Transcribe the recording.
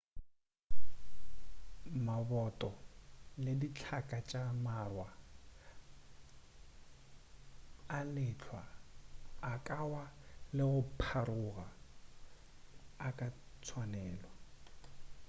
maboto le dihlaka tša mawa a lehlwa a ka wa le go pharoga a ka tswalelwa